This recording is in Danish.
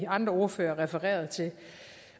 andre ordførere refererede til